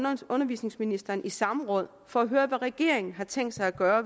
undervisningsministeren i samråd for at høre hvad regeringen har tænkt sig at gøre